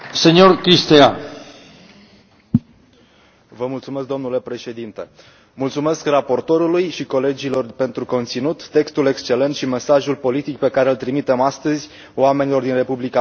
Domnule președinte, mulțumesc raportorului și colegilor pentru conținut, textul excelent și mesajul politic pe care îl trimitem astăzi oamenilor din Republica Moldova, indiferent de etnie, origini sau limba vorbită.